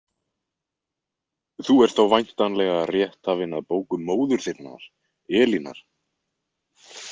Þú ert þá væntanlega rétthafinn að bókum móður þinnar, Elínar?